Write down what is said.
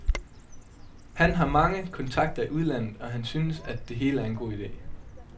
Han har mange kontakter i udlandet, og han synes, at det hele er en god ide.